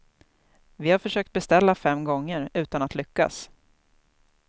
Vi har försökt beställa fem gånger, utan att lyckas.